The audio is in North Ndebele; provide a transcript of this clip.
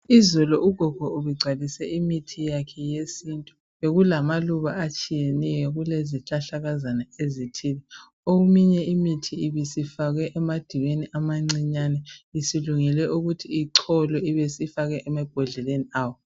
Izolo ugogo ubegcwalise imithi yakhe yesintu bekulamaluba atshiyeneyo kulezihlahlakazana ezithile. Eminye imithi ibisifakwe emadiweni amancinyane isilungelwe ukuthi icholwe ibe isifakwa emabhodleleni awo.